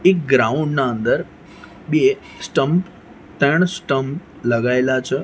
એક ગ્રાઉન્ડ ના અંદર બે સ્ટમ્પ ત્રણ સ્ટમ્પ લગાયેલા છે.